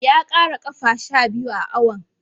Ya ƙara ƙafa sha biyu a awon.